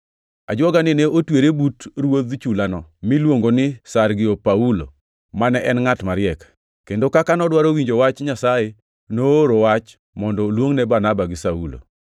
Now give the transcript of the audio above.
Ajuogani ne otwere but ruodh chulano miluongo ni Sergio Paulo, mane en ngʼat mariek, kendo kaka nodwaro winjo Wach Nyasaye, nooro wach mondo oluongne Barnaba gi Saulo.